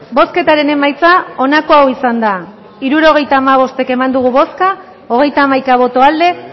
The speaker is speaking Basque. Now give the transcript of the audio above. bozketaren emaitza onako izan da hirurogeita hamabost eman dugu bozka hogeita hamaika boto aldekoa